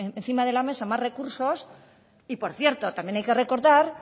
encima de la mesa más recursos y por cierto también hay que recordar